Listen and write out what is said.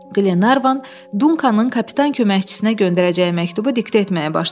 Glevan Dunkanın kapitan köməkçisinə göndərəcəyi məktubu diktə etməyə başladı.